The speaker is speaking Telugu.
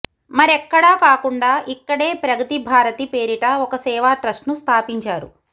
మరెక్కడా కాకుండా ఇక్కడే ప్రగతి భారతి పేరిట ఒక సేవా ట్రస్ట్ ను స్థాపించారు